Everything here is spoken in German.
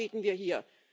Darüber reden wir hier.